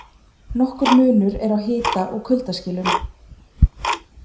Nokkur munur er á hita- og kuldaskilum.